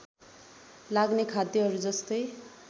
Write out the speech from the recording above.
लाग्ने खाद्यहरू जस्तै